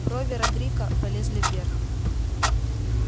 брови родрика полезли вверх